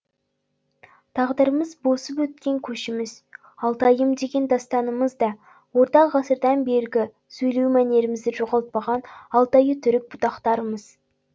тағдырымыз босып өткен көшіміз алтайым деген дастанымыз да орта ғасырдан бергі сөйлеу мәнерімізді жоғалтпаған алтайы түрік бұтақтарымыз